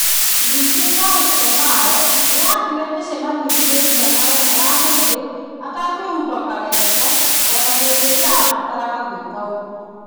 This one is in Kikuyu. Ningĩ, Bolsonaro nĩ athiĩte mĩcemanio-inĩ igana ũna ya mũingĩ atekwĩhumba karembeko o na hĩndĩ ĩrĩa aabataraga gwĩka ũguo.